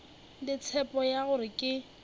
le tshepo ya gore ke